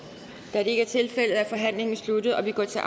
da det ikke er tilfældet er forhandlingen sluttet og vi går til